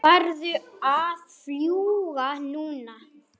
Vildu líka halda jól.